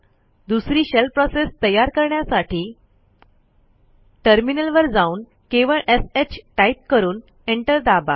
दुसरी shell process तयार करण्यासाठी टर्मिनलवर जाऊन केवळ shटाईप करून एंटर दाबा